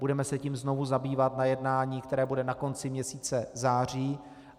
Budeme se tím znovu zabývat na jednání, které bude na konci měsíce září.